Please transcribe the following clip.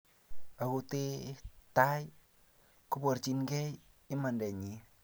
Akothee tai koborchinikei imandanyin